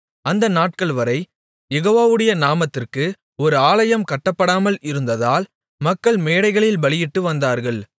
அந்த நாட்கள்வரை யெகோவாவுடைய நாமத்திற்கு ஒரு ஆலயம் கட்டப்படாமல் இருந்ததால் மக்கள் மேடைகளில் பலியிட்டு வந்தார்கள்